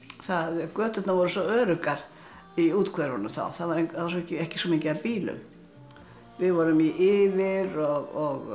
göturnar voru svo öruggar í úthverfunum þá það var ekki svo mikið af bílum við vorum í yfir og